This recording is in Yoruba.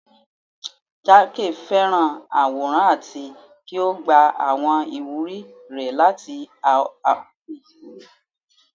Jake fẹràn aworan ati ki o gba awọn iwuri rẹ lati awọn aṣọ-ikele iwẹ